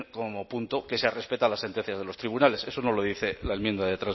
como punto que se respeta las sentencias de los tribunales eso no lo dice la enmienda